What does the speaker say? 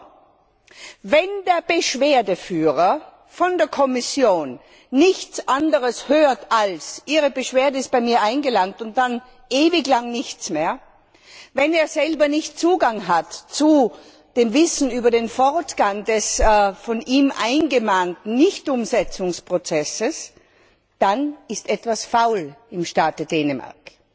Aber wenn der Beschwerdeführer von der Kommission nichts anderes hört, als Ihre Beschwerde ist bei mir eingegangen und dann ewig lange nichts mehr, wenn er selber keinen Zugang zu dem Wissen über den Fortgang des von ihm eingemahnten Nichtumsetzungsprozesses hat, dann ist etwas faul im Staate Dänemark.